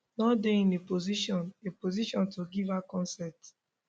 no dey in a position a position to give her consent